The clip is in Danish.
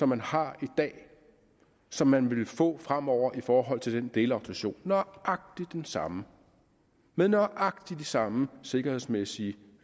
man har i dag som man ville få fremover i forhold til den delautorisation nøjagtig den samme med nøjagtig de samme sikkerhedsmæssige